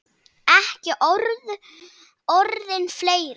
Ekki urðu orðin fleiri.